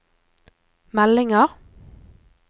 meldinger